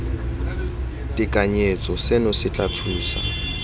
tekanyetso seno se tla thusa